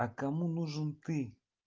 а кому нужен ты